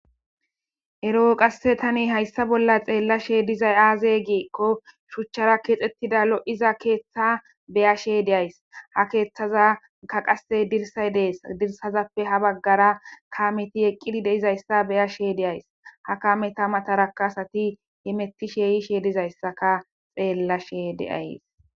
eroo qasse tani hayssa bolla xeella she dizay aazey giekko shuchchara keexettida lo7iza keeththa beya shey deyays ha keeththaza ga qase dirsay dees dirsazappe ha baggara kaameti eqqidi de izayssa beya sheeydeyays ha kameta mataraka asati imetti sheeyi sheydizayssaka xeella she deayees